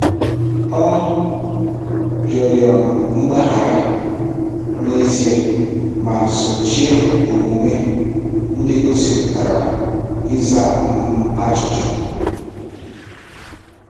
Ọ rịọrọ um mgbaghara n'ezie ma sochie omume ndị gosipụtara ịza um ajụjụ.